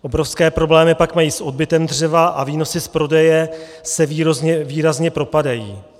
Obrovské problémy pak mají s odbytem dřeva a výnosy z prodeje se výrazně propadají.